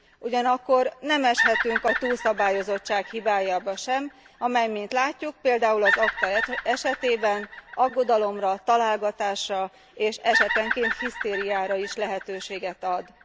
Ugyanakkor nem eshetünk a túlszabályozottság hibájába sem, amely mint látjuk, például az ACTA esetében aggodalomra, találgatásra és esetenként hisztériára is lehetőséget ad.